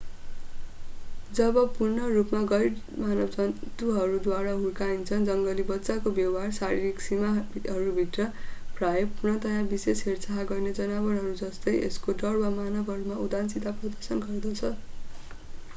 जब पूर्ण रूपमा गैर-मानव जन्तुहरूद्वारा हुर्काइन्छ जङ्गली बच्चाको व्यवहार शारीरिक सीमाहरू भित्र प्रायः पूर्णतया विशेष हेरचाह गर्ने जनावरहरू जस्तै यसको डर वा मानवहरूमा उदासीनता प्रदर्शन गर्दछ।